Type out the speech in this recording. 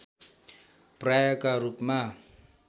पर्यायका रूपमा